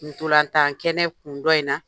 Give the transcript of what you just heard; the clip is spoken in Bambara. Ntolan tan kɛnɛ kun dɔ in na.